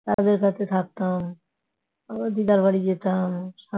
তাদের কাছে থাকতে হবে আবার দিদা বাড়ি যেতে হবে।